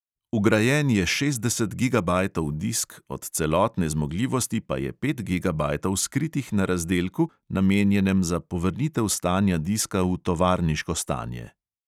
Vgrajen je šestdeset gigabajtov disk, od celotne zmogljivosti pa je pet gigabajtov skritih na razdelku, namenjenem za povrnitev stanja diska v tovarniško stanje.